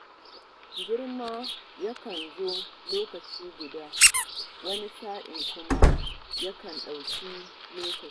Girma yakan zo lokaci guda, wani sa'in kuma ya kan ɗau lokaci.